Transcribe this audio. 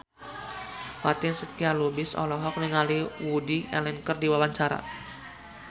Fatin Shidqia Lubis olohok ningali Woody Allen keur diwawancara